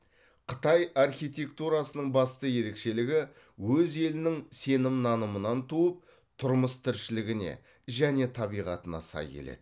қытай архитектурасының басты ерекшелігі өз елінің сенім нанымынан туып тұрмыс тіршілігіне және табиғатына сай келеді